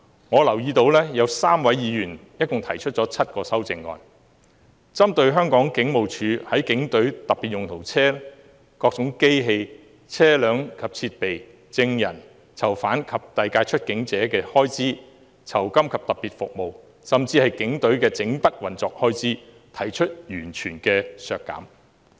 我留意到有3位議員共提出7項修正案，提出完全削減香港警務處警隊特別用途車輛；機器、車輛及設備；證人、囚犯及遞解出境者；酬金及特別服務；甚至警務處全年運作的預算開支。